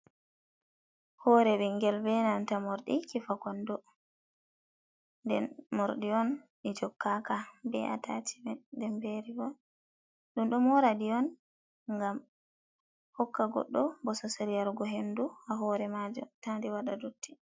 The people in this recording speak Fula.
Hore ɓingel be nanta morɗi kifa kondo. Nden morɗi on ɗi jokkaka, be atacimet, be rivom. Ɗum ɗo mora ɗi on ngam hokka goɗɗo bososel yarugo hendu ha hore majum, ta nde waɗa dotti.